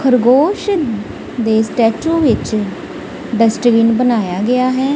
ਖਰਗੋਸ਼ ਦੇ ਸਟੈਚੁ ਵਿੱਚ ਡਸਟਬਿਨ ਬਣਾਇਆ ਗਿਆ ਹੈ।